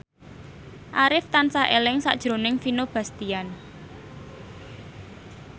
Arif tansah eling sakjroning Vino Bastian